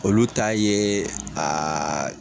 Olu ye aa